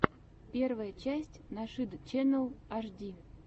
первая часть нашид ченнал аш ди